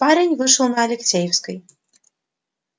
парень вышел на алексеевской